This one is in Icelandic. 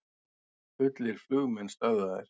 Fullir flugmenn stöðvaðir